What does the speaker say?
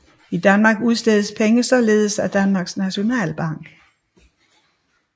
I Danmark udstedes penge således af Danmarks Nationalbank